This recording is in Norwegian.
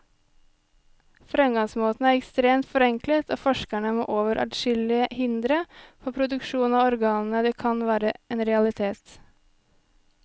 Fremgangsmåten er ekstremt forenklet, og forskerne må over adskillige hindre før produksjon av organene kan være en realitet.